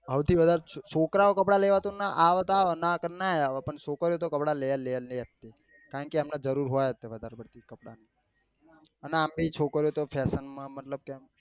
સૌથી વધાર છોકરા ઓ કપડા લેવા આવે તો આવે નાં આવે તો નાં આવે પન્ન છોકરીઓ તો કપડા લે લે ને લે જ કારણ કે એમને જરૂર હોય જ છે વધારે પડતી કપડા ની અને આમ બી છોકરી તો fashion મતલબ કે એમ